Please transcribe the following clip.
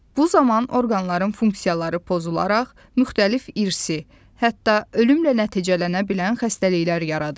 Bu zaman orqanların funksiyaları pozularaq müxtəlif irsi, hətta ölümlə nəticələnə bilən xəstəliklər yaradır.